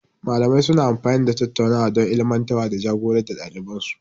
Malamai suna amfani da tattaunawa don ilmantarwa da ja-gorar da ɗaliban su.